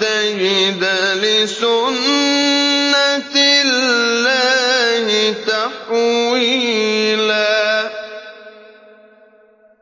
تَجِدَ لِسُنَّتِ اللَّهِ تَحْوِيلًا